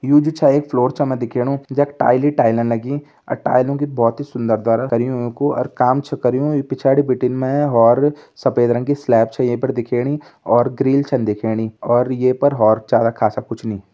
You जू छा एक फ्लोर चा म दिखेनु जा टाइल टाइल अन लगी अ टाइलो की बहोत सुंदर द्वारा करयो औ कु काम छ करयु इ पिछारी बिटिन मे और सफ़ेद रंग कि स्लैब छे यही पे दिखेनी और ग्रील छ न दिखेणी और ये पर औऱ चारा ख़ासा कुछ नई ।